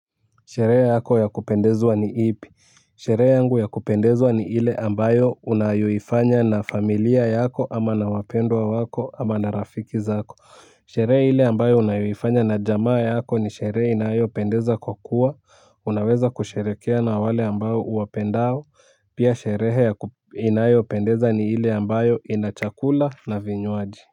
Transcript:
Sherehe yako ya kupendezwa ni ipi? Sherehe yangu ya kupendezwa ni ile ambayo, unayoifanya na familia yako, ama nawapendwa wako ama na rafiki zako. Sherehe ile ambayo unayoifanya na jamaa yako ni sherehe inayopendeza kwa kuwa, unaweza kusherehekea na wale ambao uwapendao, pia sherehe inayopendeza ni ile ambayo ina chakula na vinywaji.